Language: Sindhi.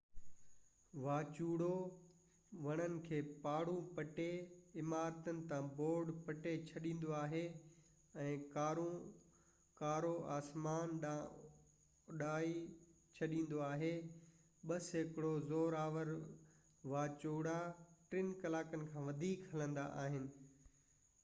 واچوڙو وڻن کي پاڙئون پٽي عمارتن تان بورڊ پٽي ڇڏيندو آهي ۽ ڪارون آسمان ڏانهن اڏائي ڇڏيندو آهي ٻہ سيڪڙو زورآور واچوڙا ٽن ڪلاڪن کان وڌيڪ هلندا آهن